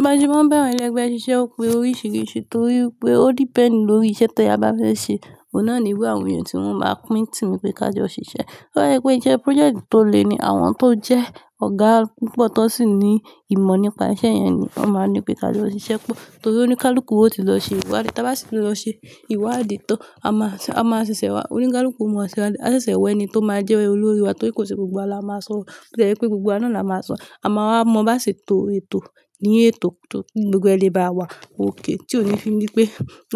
Bàse má n ba àwọn èlègbẹ́ ṣíṣe ó pé oríṣìíríṣìí torí pé ó depend lórí iṣẹ́ ti a bá fẹ́ ṣe. Òhun náà irú àwọn èèyàn tí wọ́n máa pín tìmi pé ká jọ ṣiṣẹ́. Tó bá sẹ pé iṣẹ́ project tó le ni àwọn tó jẹ́ ọ̀gá púpọ̀ tó sì ní ìmọ̀ nípa iṣẹ́ yẹn ni wọ́n máa ní pé ká jọ ṣiṣẹ́ pọ̀. Torí oníkálukú ó ti lọ ṣe ìwádìí, tí a bá sì lọ ṣe ìwádìí tó a máa ṣẹ̀, a máa ṣẹ̀ṣẹ̀ wá oníkálukú ó máa ṣe wá a ṣẹ̀ṣẹ̀ wẹ́ ẹni tó máa jẹ́ olórí wa torí kò ṣe gbogbo wa la máa sọ. Ò jẹ́ pé gbogbo wa náà la máa sọ. A máa wá mọ bá ṣe tó ètò ni ètò tó gbogbo lẹ́ba wa okay tí ó níí fi ní pé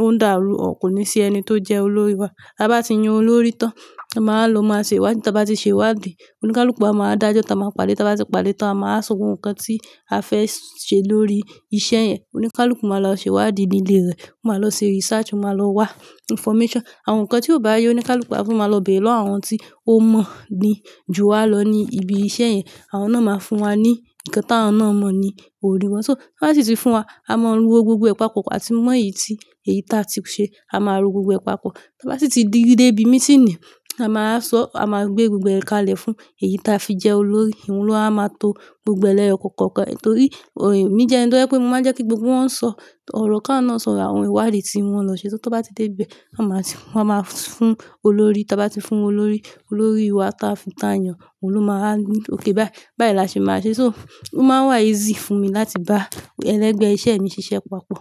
ó ń dàrú ọ̀ kò ní sí ẹni tó jẹ́ olórí wa. Tí abá ti yan olórí tán a má lò ó máa ṣe ìwádìí tí a bá ti ṣe ìwádìí oníkálukú máa dájọ́ tá má pàdé tá bá ti pàdé tán a máa sọ gbogbo nkán tí a fẹ́ ṣe lórí iṣẹ́ yẹn. Oníkálukú máa lọ ṣe ìwádìí nílé rẹ̀, ó máa lọ ṣe research, ó máa lọ wá information. Àwọn nǹkan tí ò bá yẹ oníkálukú a tún máa lọ bẹ̀rẹ lọ́wọ́ àwọn tí ó mọ̀ ni ju wa lọ ní ibi iṣẹ́ yẹn. Àwọn náà máa fún wa ní nkán táwọn náà mọ̀ ni orí tí wọ́n bá sì ti fún wa a máa ro gbogbo e papọ áti mọ̀ èyí tí èyí ta ti ṣe a máa ro gbogbo papọ. Ti obá sì ti dé ibi meeting a má wa sọ, a máa gbé gbogbo ẹ̀ ka lẹ̀ fún èyí ta fi jẹ́ olórí. Òun ló á má wà to gbogbo è lẹ́yọ̀ kọ̀ọ̀kan torí èmi je ẹni tó jé pé mo máa n jẹ́ kí gbogbo wọn sọ ọ̀rọ̀ ki awọn náà sọ àwọn ìwádìí tí wọ́n lọ ṣe. Tí wọ́n bá ti dé ibẹ̀ ò máa won máa fún olórí tá bá ti fún olórí, olórí wa tá fún tá yàn òun ló máa ní okay báyìí. Báyìí la ṣe máa ṣe. Ó máa ń wá easy fún mi láti bá ẹlẹ́gbẹ́ iṣẹ́ mi ṣiṣẹ́ papọ̀